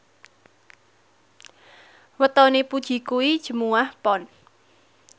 wetone Puji kuwi Jumuwah Pon